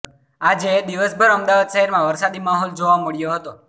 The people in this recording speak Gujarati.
આજે દિવસભર અમદાવાદ શહેરમાં વરસાદી માહોલ જોવા મળ્યો હતો